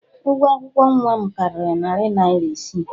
Ụgwọ akwụkwọ nwa m karịrị narị naira isii.